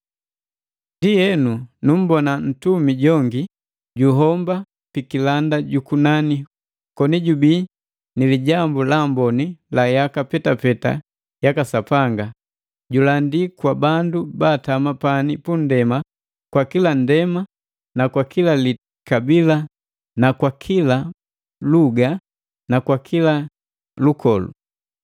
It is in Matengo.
Ndienu nummbona ntumi jongi juhomba pikilanda jukunani koni jubii ni Lijambu la Amboni la yaka petapeta yaka Sapanga, julandila kwa bandu baatama pani punndema kwa kila nndema, kwa kila likabila na kwa kila ba luga na kwa kila lukolu.